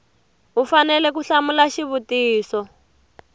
u fanele ku hlamula xivutiso